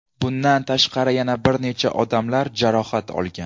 Bundan tashqari yana bir necha odamlar jarohat olgan.